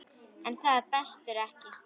En það brestur ekki.